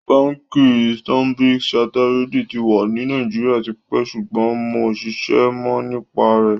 Bánkì Standard-Charterèdì tì wà ní Nàìjíríà tìpẹ́ sùgbọ́n mó ǹṣèṣè mó nípá rẹ.